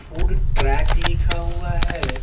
Food track लिखा हुआ है।